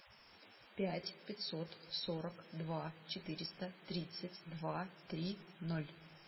пять пятьсот сорок два четыреста тридцать два три ноль